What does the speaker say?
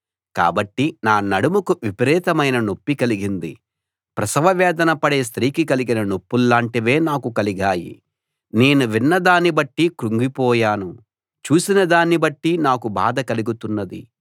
కాబట్టి నా నడుముకు విపరీతమైన నొప్పి కలిగింది ప్రసవ వేదన పడే స్త్రీకి కలిగిన నొప్పుల్లాంటివే నాకూ కలిగాయి నేను విన్న దాన్ని బట్టి కుంగిపోయాను చూసిన దాన్ని బట్టి నాకు బాధ కలుగుతున్నది